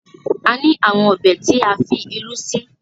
a ni awọn Ọbẹ̀ tí a fí ìrù sí.